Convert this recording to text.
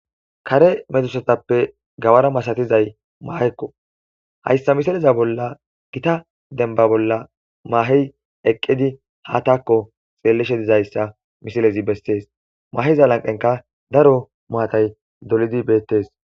kare metusatappe gawara masatizay mahekko hayssa misileza bolla gita denba bolla mahey eqqidi ha taakko xeelleshe dizayssa misilezi bessees mahiza lanqenka daro maatay dolidi beettes